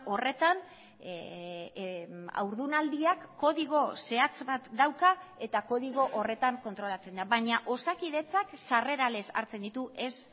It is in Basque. horretan haurdunaldiak kodigo zehatz bat dauka eta kodigo horretan kontrolatzen da baina osakidetzak sarrera lez hartzen ditu ez